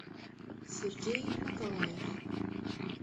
сергей маталаев